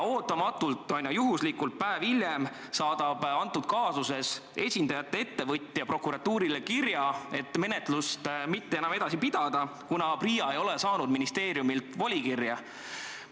Ootamatult ja juhuslikult päev hiljem saadab antud kaasuses ettevõtjate esindaja prokuratuurile kirja, et menetlust mitte enam jätkata, kuna PRIA ei ole saanud ministeeriumilt volikirja.